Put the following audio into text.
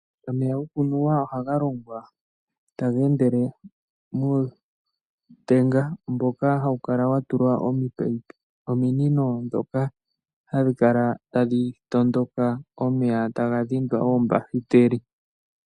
Omeya gokunwa ohaga longwa tagae endele mootenga mboka hawu kala wa tulwa ominino dhoka hadhi kala tadhi tondoka omeya taga kala taga dhindwa oombahiteli.